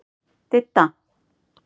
Didda